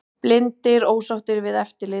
Blindir ósáttir við eftirlit